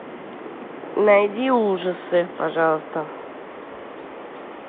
найди ужасы пожалуйста